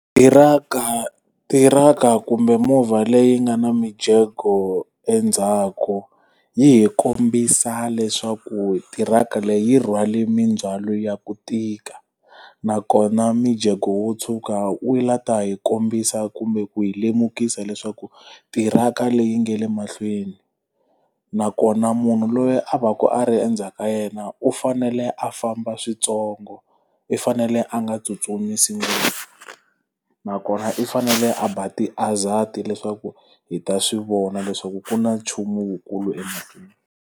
Tirhaka tirhaka kumbe movha leyi nga na mijeko endzhaku, yi hi kombisa leswaku tirhaka leyi rhwale mindzhwalo ya ku tika nakona mijeko wo tshuka wu lava ku hi kombisa kumbe ku hi lemukisa leswaku tirhaka leyi nga le mahlweni. Nakona munhu loyi a va ku a ri endzhaku ka yena u fanele a famba swintsongo, i fanele a nga tsutsumisi ngopfu. Nakona i fanele a ba ti-hazard-i leswaku hi ta swi vona leswaku ku na nchumu wukulu emahlweni.